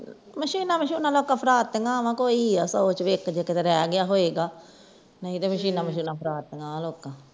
ਮਸ਼ੀਨਾਂ ਮਛੁਨਾ ਤੇ ਲੋਕਾਂ ਨੇ ਫਿਰਾ ਦਿਤੀਆਂ ਵਾ ਕੋਈ ਆ ਸੋ ਚੋ ਇਕ ਜੋ ਕਿਥੇ ਰਹਿ ਗਿਆ ਹੋਵੇਗਾ ਨਹੀਂ ਤੇ ਮਸ਼ੀਨਾਂ ਮਛੁਨਾ ਫਰਾ ਤੀਆਂ ਲੋਕਾਂ